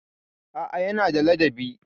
A'a, yana da ladabi.